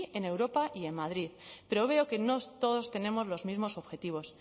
en europa y en madrid pero veo que no todos tenemos los mismos objetivos